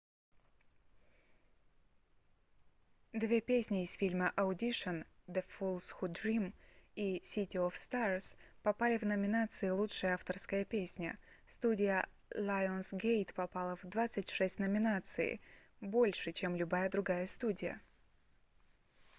две песни из фильма — audition the fools who dream и city of stars попали в номинацию лучшая авторская песня. студия lionsgate попала в 26 номинаций — больше чем любая другая студия